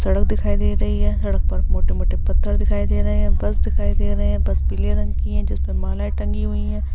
सड़क दिखाई दे रही हैं। सड़क पर मोटे-मोटे पत्थर दिखाई दे रहे हैं। बस दिखाई दे रहे है बस पीले रंग की हैं। जिस पर माला टंगी हुई हैं।